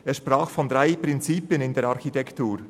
Er sprach von drei Prinzipien in der Architektur: